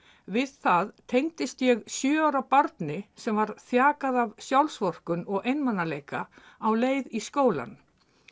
við það tengdist ég sjö ára barni sem var þjakað af sjálfsvorkunn og einmanaleika á leið í skólann